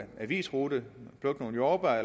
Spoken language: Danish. avisrute at plukke nogle jordbær at